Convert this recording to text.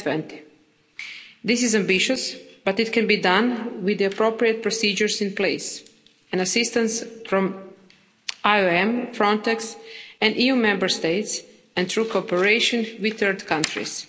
of 2020. This is ambitious, but it can be done, with the appropriate procedures in place and assistance from IOM, Frontex and EU Member States and through cooperation with third countries.